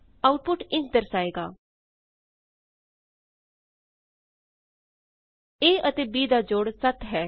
output ਇੰਝ ਦਰਸਾਏਗਾ a ਅਤੇ b ਦਾ ਜੋੜ 7 ਹੈ